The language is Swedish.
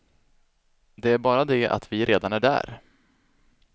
Det är bara det att vi redan är där.